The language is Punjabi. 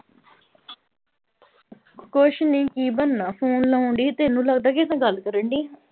ਕੁਛ ਨੀ ਕੀ ਬਣਨਾ ਫ਼ੋਨ ਲਾਉਣਡੀ ਸੀ ਤੈਨੂੰ ਲੱਗਦਾ ਕਿਸੇ ਗੱਲ ਕਰਨਡੀ।